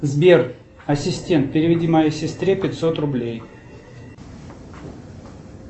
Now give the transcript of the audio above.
сбер ассистент переведи моей сестре пятьсот рублей